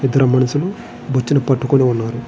ఇద్దరు మనుషులు నీచ్చనా పట్టుకొని ఉన్నారు.